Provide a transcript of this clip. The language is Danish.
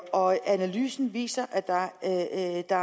og analysen viser at der at der